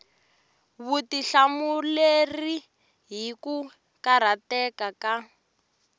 vutihlamuleri hi ku karhateka ka